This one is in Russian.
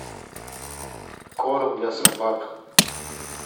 корм для собак